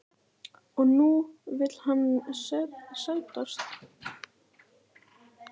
Og nú vill hann sættast?